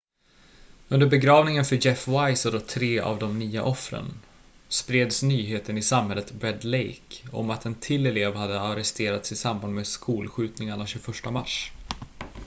under begravningen för jeff weise och tre av de nio offren spreds nyheten i samhället red lake om att en till elev hade arresterats i samband med skolskjutningarna 21 mars